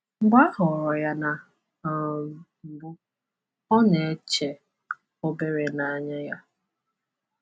Mgbe a họọrọ ya na um mbụ, ọ na-eche ‘obere n’anya ya.’